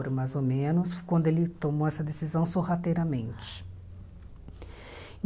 mais ou menos, quando ele tomou essa decisão sorrateiramente.